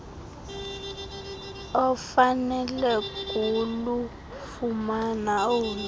ofanele kulufumana olu